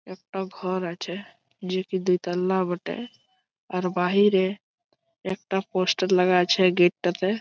একটা ঘর আছে এটি দুতলা বটে। আর বাহিরে একটা পোস্টার লাগাই আছে গেটটাতে।